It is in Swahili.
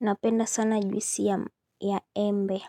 Napenda sana juisi ya embe